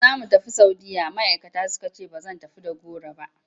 Da za mu tafi Saudiyya ma'aikata suka ce ba zan tafi da goro ba.